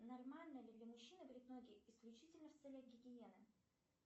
нормально ли для мужчины брить ноги исключительно в целях гигиены